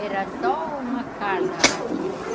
Era só uma casa aqui.